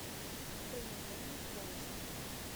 приложение форест